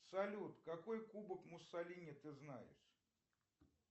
салют какой кубок муссолини ты знаешь